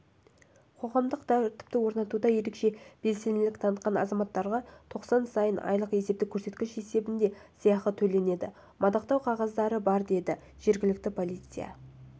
қоғамдық тәртіпті орнатуда ерекше белсенділік танытқан азаматтарға тоқсан сайын айлық есептік көрсеткіш есебінде сыйақы төленеді мадақтау қағаздары бар деді жергілікті полиция